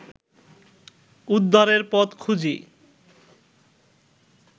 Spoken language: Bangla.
উদ্ধারের পথ খুঁজি